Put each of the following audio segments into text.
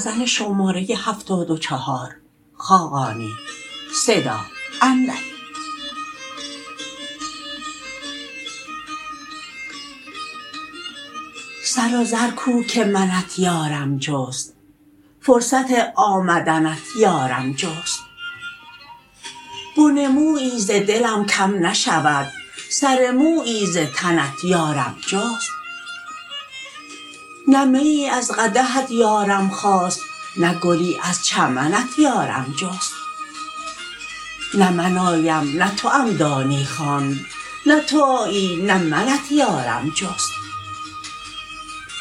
سر و زر کو که منت یارم جست فرصت آمدنت یارم جست بن مویی ز دلم کم نشود سر مویی ز تنت یارم جست نه میی از قدحت یارم خواست نه گلی از چمنت یارم جست نه من آیم نه توام دانی خواند نه تو آیی نه منت یارم جست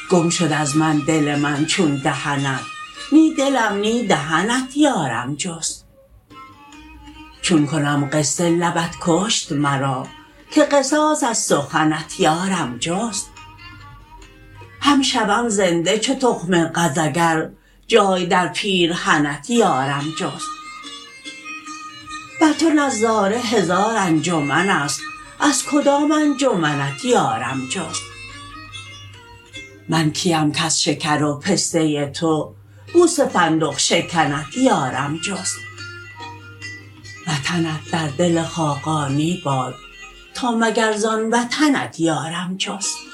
گم شد از من دل من چون دهنت نی دلم نی دهنت یارم جست چون کنم قصه لبت کشت مرا که قصاص از سخنت یارم جست هم شوم زنده چو تخم قز اگر جای در پیرهنت یارم جست بر تو نظاره هزار انجمن است از کدام انجمنت یارم جست من کیم کز شکر و پسته تو بوس فندق شکنت یارم جست وطنت در دل خاقانی باد تا مگر زان وطنت یارم جست